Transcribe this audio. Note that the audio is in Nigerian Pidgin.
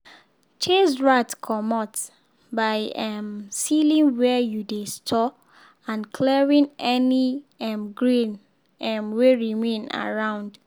chase rat comot by um sealing where you dey store and clearing any um grain um wey remain around.